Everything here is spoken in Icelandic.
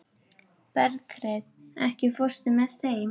Berghreinn, ekki fórstu með þeim?